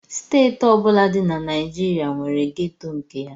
Steeti ọ bụla dị na Naịjirịa nwere gétò nke ya